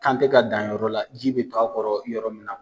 K'an te ka dan yɔrɔ la, ji bi to a kɔrɔ yɔrɔ min na.